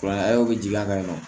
Kuran bɛ jigin a kan yen nɔ